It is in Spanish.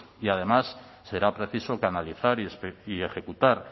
y además será preciso canalizar y ejecutar